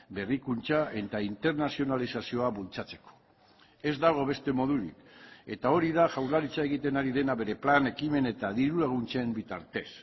berrikuntza eta internazionalizazioa bultzatzeko ez dago beste modurik eta hori da jaurlaritza egiten ari dena bere plan ekimen eta diru laguntzen bitartez